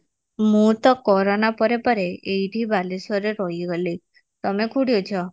ମୁଁ ତ କୋରୋନା ପରେ ପରେ ଏଇଠି ବାଲେଶ୍ଵର ରେ ରହି ଗଲି ତମେ କୋଉଠି ଅଛ